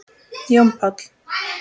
Jón Páll.